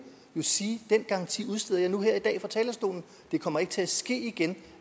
sige den garanti udsteder jeg nu her i dag fra talerstolen det kommer ikke til at ske igen